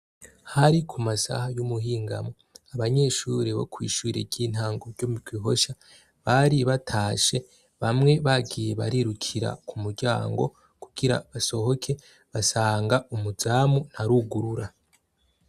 hari ku masaha y'umuhingamo abanyeshuri bo kw'ishure ry'intango ryo mugihosha bari batashe bamwe bagiye barirukira ku muryango kugira basohoke basanga umuzamu ntarugurura.